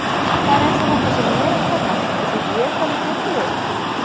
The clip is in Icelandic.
Það er eins og þetta sé mér að kenna, eins og ég hafi bitið þig!